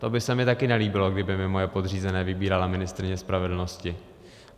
To by se mi také nelíbilo, kdyby mi moje podřízené vybírala ministryně spravedlnosti.